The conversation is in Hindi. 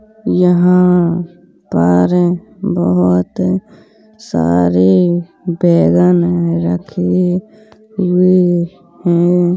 यहाँ पर बहुत सारे बैंगन रखे हुए हैं।